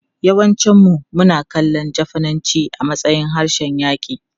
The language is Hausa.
Yawancinmu suna kallon Jafananci a matsayin harshen yaƙi.